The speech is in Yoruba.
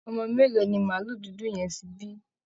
Ọmọ mélòó ni màálù dudu yẹn ti bí?